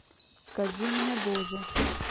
скажи мне боже